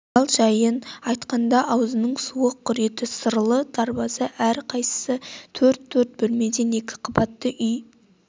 ал жайын айтқанда аузының суы құриды сырлы дарбаза әрқайсысы төрт-төрт бөлмеден екі қабатты үй